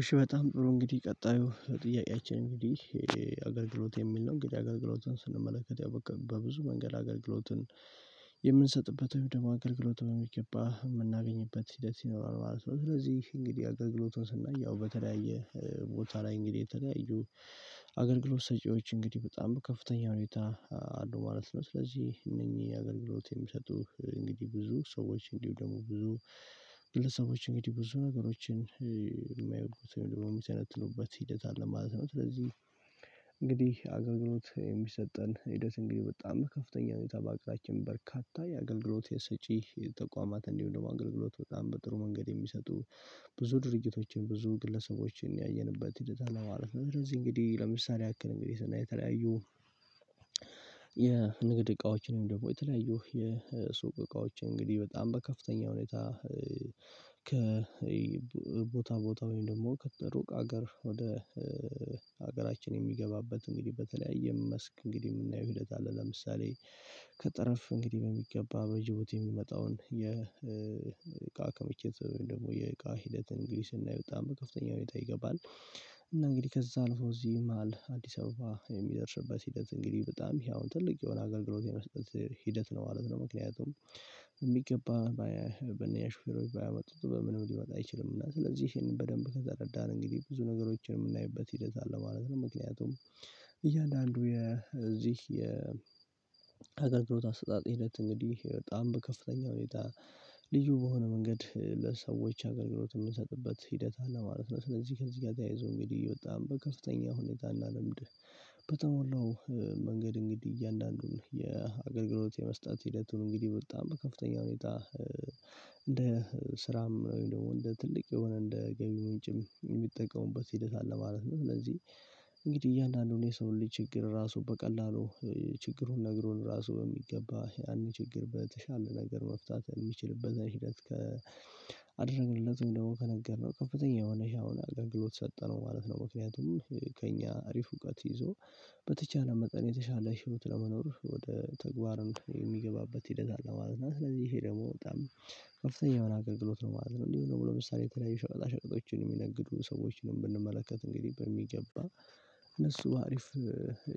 እሺ በጣም ጥሩ እንግዲህ ቀጣዩ ጥያቄያችን እንግዲህ አገልግሎት የሚል ነው እንግዲህ አገልግሎቱን ስንመለከት ያው በብዙ መንገድ አገልግሎትን የምንሰጥበት ወይ ደግሞ አገልግሎት በሚገባ የምናገኝበት ሂደት ይኖራል ማለት ነው። ስለዚህ እንግዲህ አገልግሎቱን ስናይ ያው በተለያየ ቦታ ላይ እንግዲህ የተለያዩ አገልግሎት ሰጪዎች እንግዲህ በጣም ከፍተኛ ሁኔታ አሉ ማለት ነው። ስለዚህ እነኚህ አገልግሎት የሚሰጡህ እንግዲህ ብዙ ሰዎች እንዲሁ ደግሞ ብዙ ብለህ ሰዎች እንግዲህ ብዙ ነገሮችን የማየው ደግሞ የሚሰነትሉበት ሂደት አለ ማለት ነው። ስለዚህ እንግዲህ አገልግሎት የሚሰጠን ሂደት እንግዲህ በጣም ከፍተኛ ሁኔታ በአቅራችን በርካታ የአገልግሎት የሰጪ ተቋማት እንዲሁ ደግሞ አገልግሎት በጣም በጥሩ መንገድ የሚሰጡ ብዙ ድርጅቶችን ብዙ ግለሰቦችን ያየንበት ሂደት አለማለፍ ነው። ለዚህ እንግዲህ ለምሳሌ ያክል እንግዲህ ስናይ የተለያዩ የንግድ እቃዎችን ደግሞ የተለያዩ የሱቅ እቃዎች እንግዲህ በጣም በከፍተኛ ሁኔታ ከ ቦታ ቦታ ወይም ደግሞ ከሩቅ ሀገር ወደ ሀገራችን የሚገባበት እንግዲህ በተለያየ መስክ እንግዲህ የምናየው ሂደት አለ። ለምሳሌ ከጠረፍ እንግዲህ በሚገባ በጅቡቲ የሚመጣውን የእቃ ከምችት ደግሞ የእቃ ሂደት እንግዲህ እና ስናየው በከፍተኛ ሁኔታ ይገባል። እና እንግዲህ ከዛ ነው እዚህ መሃል አዲስ አበባ የሚደርስበት ሂደት እንግዲህ በጣም ይሄ አሁን ትልቅ የሆነ አገልግሎት የመስጠት ሂደት ነው ማለት ነው። ምክንያቱም የሚገባ በነ ያሹፌሮች ባያመጡት በምንም ሊመጣ አይችልም። እና ስለዚህ ይሄንን በደንብ ከተረዳን እንግዲህ ብዙ ነገሮችን የምናይበት ሂደት አለ ማለት ነው። ምክንያቱም እያንዳንዱ የዚህ ሀገር ኣገልግሎት አሰጣጥ ሂደት እንግዲህ በጣም በከፍተኛ ሁኔታ ልዩ በሆነ መንገድ ለሰዎች አገልግሎት የምንሰጥበት ሂደት አለ ማለት ነው። ስለዚህ ከዚህ ጋር ተያይዞ እንግዲህ በጣም በከፍተኛ ሁኔታ እና ልምድ በተሞላው መንገድ እንግዲህ እያንዳንዱን የአገልግሎት የመስጠት ሂደቱን እንግዲህ በጣም በከፍተኛ ሁኔታ እንደ ስራም ወይም ደግሞ እንደ ትልቅ የሆነ እንደ ገቢ ምንጭም የሚጠቀሙበት ሂደት አለ ማለት ነው። ስለዚህ እንግዲህ እያንዳንዱን የሰው ልጅ ችግር ራሱ በቀላሉ ችግሩን ነግሮን ራሱ የሚገባ ያንን ችግር በተሻለ ነገር መፍታት የሚችልበትን ሂደት ከአደረግንለት ደግሞ ከነገርነው ከፍተኛ የሆነ ሻውን አገር ግሎት ሰጠነው ማለት ነው። ምክንያቱም ከእኛ አሪፍ እውቀት ይዞ በተቻለ መጠን የተሻለ ህይወት ለመኖር ወደ ተግባርን የሚገባበት ሂደት አለማዝና ስለዚህ ይሄ ደግሞ በጣም ከፍተኛ መናገር ግሎት ነው ማለት ነው። እንዲሁ ደግሞ ለምሳሌ የተለያዩ ሸዋ ሸቀጦችን የሚነግዱ ሰዎችንም ብንመለከት እንግዲህ በሚገባ እነሱ አሪፍ